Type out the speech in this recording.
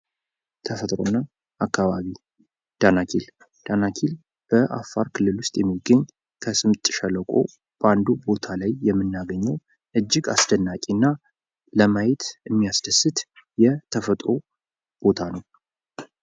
ተፈጥሮና አካባቢ፦ ለምሳሌ ደናኪል፦ ደናኪል በአፋር ክልል ዉስጥ የሚገኝ ከስምጥ ሸለቆ አንዱ ቦታ ላያ የምናገኘው እጅግ አስደናቂና ለማየት እና የሚያስደስት ተፈጥሮ ቦታ ነው።